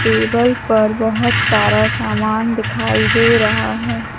Table पर बहोत सारा सामान दिखाई दे रहा हैं।